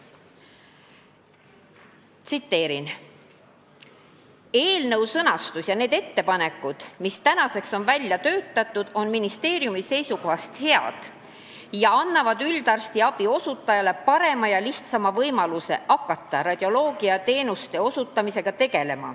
Tsiteerin: "Eelnõu sõnastus ja need ettepanekud, mis tänaseks on välja töötatud, on ministeeriumi seisukohast head ja annavad üldarstiabi osutajale parema ja lihtsama võimaluse hakata radioloogiateenuste osutamisega tegelema.